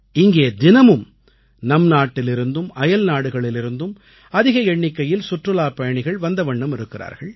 இங்கே தினமும் நம் நாட்டிலிருந்தும் அயல்நாடுகளிலிருந்தும் அதிக எண்ணிக்கையில் சுற்றுலாப்பயணிகள் வந்த வண்ணம் இருக்கிறார்கள்